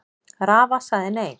Rafa sagði nei.